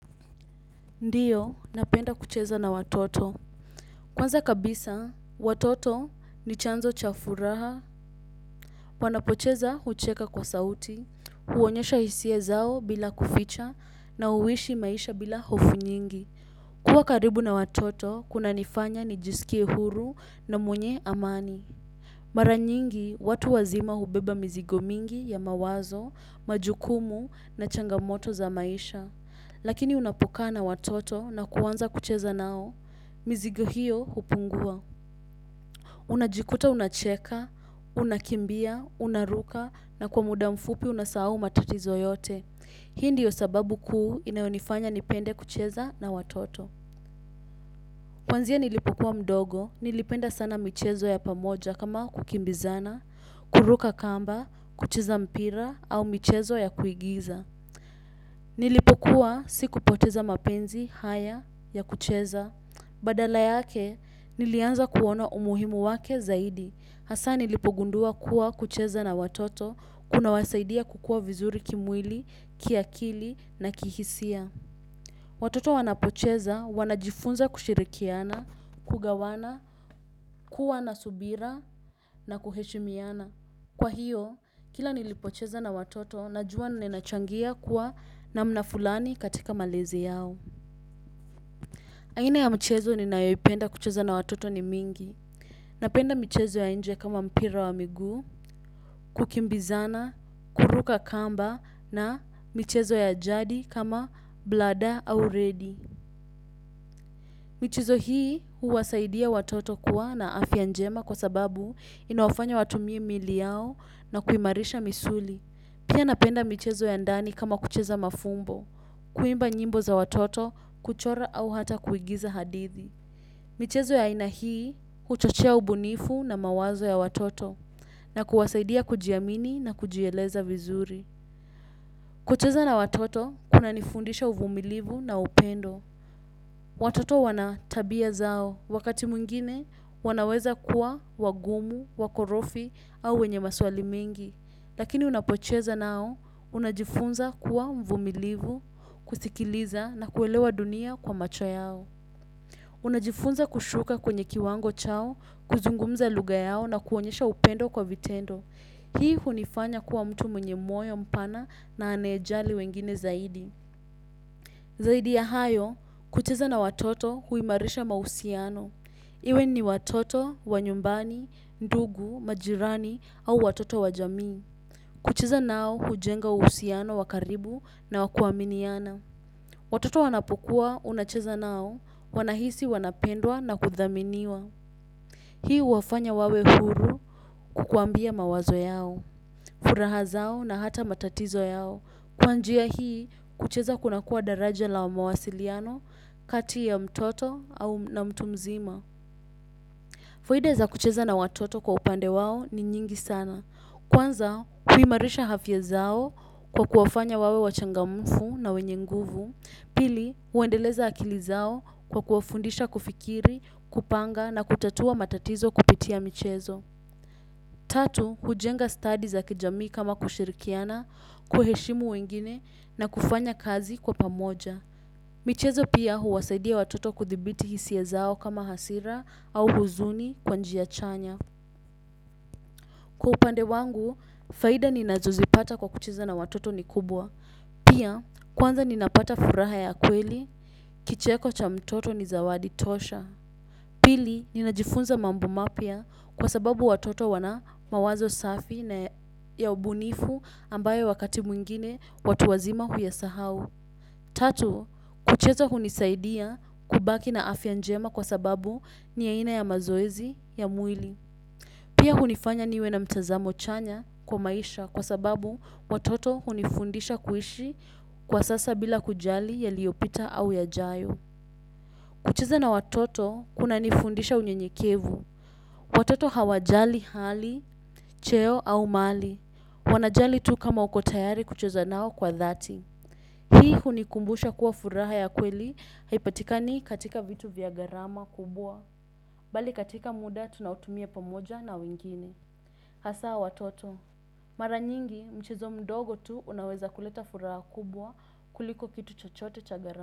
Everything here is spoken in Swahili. Ndiyo, napenda kucheza na watoto. Kwanza kabisa, watoto ni chanzo cha furaha. Wanapocheza hucheka kwa sauti, huonyesha hisia zao bila kuficha na huishi maisha bila hofu nyingi. Kuwa karibu na watoto, kuna nifanya ni jisikie huru na mwenye amani. Mara nyingi, watu wazima hubeba mizigo mingi ya mawazo, majukumu na changamoto za maisha. Lakini unapokaa na watoto na kuwanza kucheza nao, mizigo hiyo hupungua. Unajikuta unacheka, unakimbia, unaruka na kwa muda mfupi unasahau matatizo yote. Hii ndiyo sababu kuu inayonifanya nipende kucheza na watoto. Kwanzia nilipokuwa mdogo, nilipenda sana michezo ya pamoja kama kukimbizana, kuruka kamba, kucheza mpira au michezo ya kuigiza. Nilipokuwa siku poteza mapenzi haya ya kucheza. Badala yake nilianza kuona umuhimu wake zaidi. Hasa nilipo gundua kuwa kucheza na watoto kuna wasaidia kukuwa vizuri kimwili, kiakili na kihisia. Watoto wanapocheza, wanajifunza kushirikiana, kugawana, kuwa nasubira na kuheshimiana. Kwa hiyo, kila nilipocheza na watoto, najua ninachangia kuwa namna fulani katika malezi yao. Aina ya mchezo ni nayoipenda kucheza na watoto ni mingi. Napenda michezo ya nje kama mpira wa miguu, kukimbizana, kuruka kamba na michezo ya jadi kama bladaa au redi. Michizo hii huwasaidia watoto kuwa na afya njema kwa sababu inawafanya watumie miili yao na kuimarisha misuli. Pia napenda michezo ya ndani kama kucheza mafumbo, kuimba nyimbo za watoto kuchora au hata kuigiza hadithi. Michezo ya aina hii huchochea ubunifu na mawazo ya watoto na kuwasaidia kujiamini na kujieleza vizuri. Kucheza na watoto kuna nifundisha uvumilivu na upendo. Watoto wana tabia zao wakati mwingine wanaweza kuwa wagumu, wakorofi au wenye maswali mingi. Lakini unapocheza nao unajifunza kuwa mvumilivu, kusikiliza na kuelewa dunia kwa macho yao. Unajifunza kushuka kwenye kiwango chao, kuzungumza luga yao na kuonyesha upendo kwa vitendo. Hii hunifanya kuwa mtu mwenye moyo mpana na anayejali wengine zaidi. Zaidi ya hayo, kucheza na watoto huimarisha mahusiano. Iwe ni watoto, wa nyumbani, ndugu, majirani au watoto wa jamii. Kucheza nao hujenga uhusiano wakaribu na wakuaminiana. Watoto wanapokuwa unacheza nao, wanahisi wanapendwa na kudhaminiwa. Hii huwafanya wawe huru kukuambia mawazo yao, furaha zao na hata matatizo yao. Kwa njia hii, kucheza kuna kuwa daraja la mawasiliano kati ya mtoto au, na mtu mzima. Faida za kucheza na watoto kwa upande wao ni nyingi sana. Kwanza, huimarisha hafya zao kwa kuwafanya wawe wachangamufu na wenye nguvu. Pili, huendeleza akili zao kwa kuwafundisha kufikiri, kupanga na kutatua matatizo kupitia michezo. Tatu, hujenga sitadi za kijamii kama kushirikiana, kuheshimu wengine na kufanya kazi kwa pamoja. Michezo pia huwasaidia watoto kuthibiti hisiya zao kama hasira au huzuni kwa njia chanya. Kwa upande wangu, faida ninazozipata kwa kucheza na watoto ni kubwa. Pia, kwanza ninapata furaha ya kweli, kicheko cha mtoto ni zawadi tosha. Pili, ninajifunza mambo mapya kwa sababu watoto wana mawazo safi na ya ubunifu ambayo wakati mwingine watu wazima huyasahau. Tatu, kucheza hunisaidia kubaki na afya njema kwa sababu ni aina ya mazoezi ya mwili. Pia hunifanya niwe na mtazamo chanya kwa maisha kwa sababu watoto hunifundisha kuishi kwa sasa bila kujali yaliyopita au yajayo. Kucheza na watoto kuna nifundisha unyenyekevu. Watoto hawajali hali, cheo au mali. Wana jali tu kama uko tayari kucheza nao kwa dhati. Hii hunikumbusha kuwa furaha ya kweli haipatikani katika vitu vya garama kubwa. Bali katika muda tunaotumia pamoja na wengine. Hasa watoto, mara nyingi mchezo mdogo tu unaweza kuleta furaha kubwa kuliko kitu chachote cha gara.